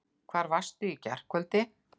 Hvar varstu í gærkvöldi?